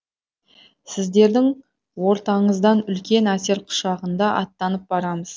сіздердің ортаңыздан үлкен әсер құшағында аттанып барамыз